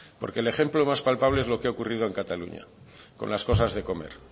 porque el ejemplo más palpable es lo que ha ocurrido en cataluña con las cosas de comer